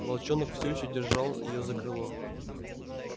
волчонок все ещё держал её за крыло